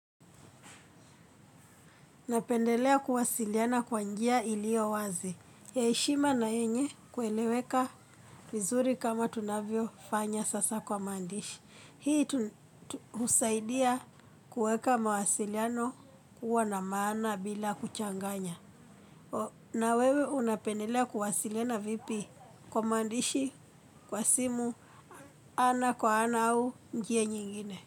Napendelea kuwasiliana kwa njia iliyo wazi. Ya heshima na yenye kueleweka vizuri kama tunavyo fanya sasa kwa maandishi. Hii husaidia kuweka mawasiliano kuwa na maana bila kuchanganya. Na wewe unapendelea kuwasiliana vipi kwa mandishi, kwa simu, ana kwa ana au njia nyingine.